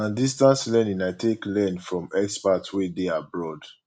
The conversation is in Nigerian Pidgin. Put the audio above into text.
na distance learning i take learn from experts wey dey abroad